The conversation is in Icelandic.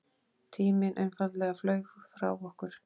Tíminn einfaldlega flaug frá okkur.